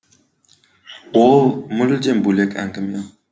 ол мүлдем бөлек әңгіме